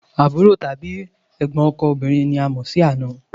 Àbúrò tàbí ẹ̀gbọ́n ọkọ òbínrin ni a a mọ̀ sí àna